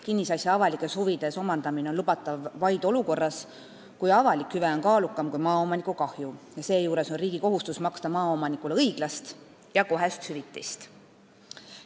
Kinnisasja avalikes huvides omandamine on lubatav vaid olukorras, kus avalik hüve on kaalukam kui maaomaniku kahju, ja seejuures on riigil kohustus maksta maaomanikule õiglast ja kohest hüvitist.